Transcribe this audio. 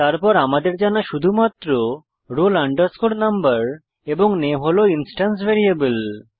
তারপর আমাদের জানা শুধুমাত্র roll number এবং নামে হল ইন্সট্যান্স ভ্যারিয়েবল